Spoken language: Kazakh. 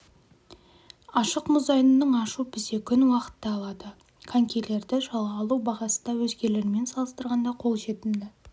ашық мұз айдынын ашу бізде күн уақытты алады конькилерді жалға алу бағасы да өзгелермен салыстырғанда қолжетімді